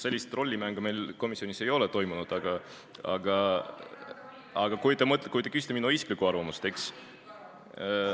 Sellist rollimängu meil komisjonis ei ole toimunud, aga te küsite minu isiklikku arvamust, eks?